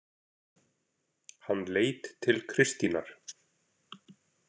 Hann leit til Kristínar.